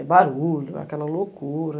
É barulho, aquela loucura.